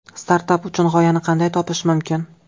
Startap uchun g‘oyani qanday topish mumkin?.